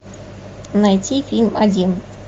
найти фильм один